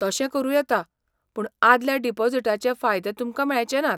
तशें करूं येता, पूण आदल्या डिपॉझिटाचे फायदे तुमकां मेळचे नात.